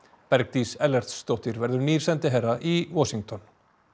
Bergdís Ellertsdóttir verður nýr sendiherra í Washington